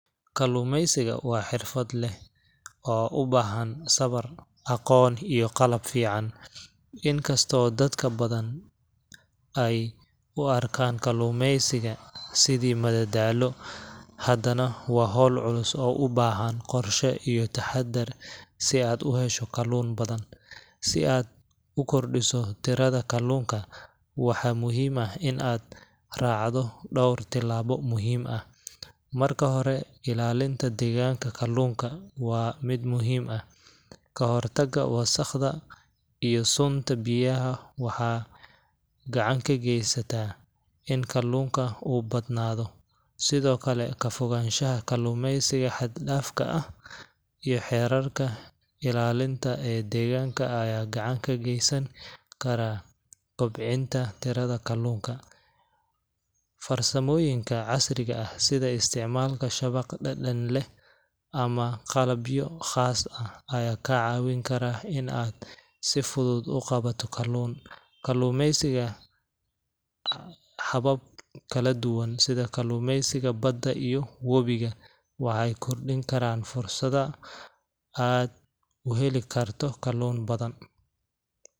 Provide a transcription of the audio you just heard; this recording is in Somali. Kalluumaysigu waa xirfad leh oo u baahan sabar, aqoon, iyo qalab fiican. Inkastoo dadka badan ay u arkaan kalluumaysiga sidii madadaalo, haddana waa hawl culus oo u baahan qorshe iyo taxadar si aad u hesho kalluun badan. Si aad u kordhiso tirada kalluunka, waxaa muhiim ah in aad raacdo dhowr tillaabo muhiim ah. Marka hore, ilaalinta deegaanka kalluunka waa mid muhiim ah. Ka hortagga wasakhda iyo sunta biyaha waxa gacan ka geysataa in kalluunka uu badnaado. Sidoo kale, ka fogaanshaha kalluumaysiga xad-dhaafka ah iyo xeerarka ilaalinta ee deegaanka ayaa gacan ka geysan kara kobcinta tirada kalluunka. Farsamooyinka casriga ah sida isticmaalka shabaq dhadhan leh ama qalabyo khaas ah ayaa kaa caawin kara in aad si fudud u qabato kalluun. Kalluumaysiga habab kala duwan sida kalluumaysiga badda iyo webiga waxay kordhin karaan fursada aad u heli karto kalluun badan.